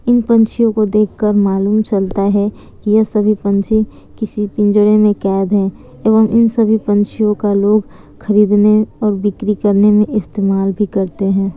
इन पंछियों को देख कर मालूम चलता है की ये सभी पंछी किसी पिंजरे मे कैद है एवं इन सभी पंछियों का लोग खरीदने और बिक्री करने मे इस्तेमाल भी करते हैं।